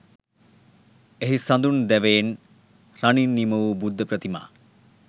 එහි සඳුන් දැවයෙන් රනින් නිමවූ බුද්ධ ප්‍රතිමා